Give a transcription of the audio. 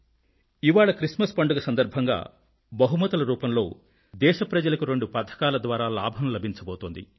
ఇవాళ Christmas పండుగ సందర్భంగా బహుమతుల రూపంలో దేశ ప్రజలకు రెండు పథకాల ద్వారా లాభం లభించబోతోంది